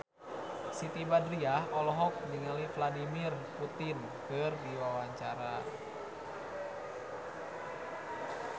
Siti Badriah olohok ningali Vladimir Putin keur diwawancara